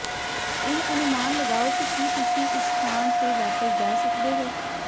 ਇਹ ਅਨੁਮਾਨ ਲਗਾਓ ਕਿ ਕੀ ਤੁਸੀਂ ਉਸ ਸਥਾਨ ਤੇ ਵਾਪਸ ਜਾ ਸਕਦੇ ਹੋ